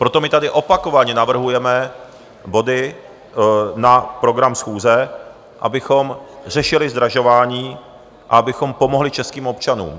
Proto my tady opakovaně navrhujeme body na program schůze, abychom řešili zdražování a abychom pomohli českým občanům.